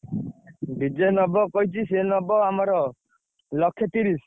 DJ ନବ କହିଛି ସିଏ ନବ ଆମର ଲକ୍ଷେ ତିରିଶ।